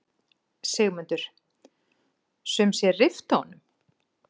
Sigmundur: Sum sé rifta honum?